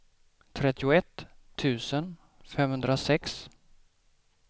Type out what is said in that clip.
trettioett tusen femhundrasex